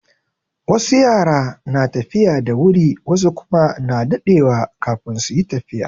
Wasu yara na tafiya da wuri wasu kuma na daɗewa kafin su yi tafiya.